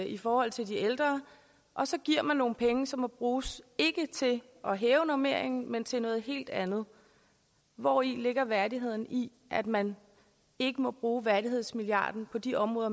i forhold til de ældre og så giver man nogle penge som må bruges ikke til at hæve normeringen men til noget helt andet hvori ligger værdigheden i at man ikke må bruge værdighedsmilliarden på de områder